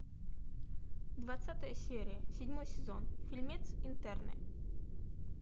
двадцатая серия седьмой сезон фильмец интерны